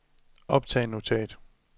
optag notat